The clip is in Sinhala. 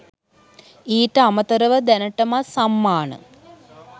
ඊට අමතරව දැනටමත් සම්මාන